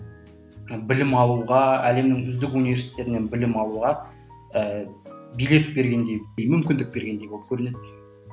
білім алуға әлемнің үздік унтверситеттерінен білім алуға ііі билет бергендей мүмкіндік бергендей болып көрінеді